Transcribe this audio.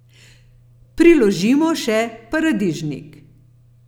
Priložimo še paradižnik.